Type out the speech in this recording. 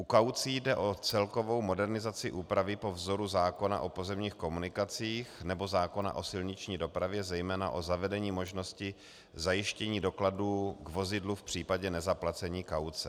U kaucí jde o celkovou modernizaci úpravy po vzoru zákona o pozemních komunikacích nebo zákona o silniční dopravě, zejména o zavedení možnosti zajištění dokladů k vozidlu v případě nezaplacení kauce.